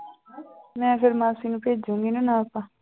ਮੈਂ ਫਿਰ ਮਾਸੀ ਨੂੰ ਭੇਜਾਂਗੀ ਨਾ ਨਾਪ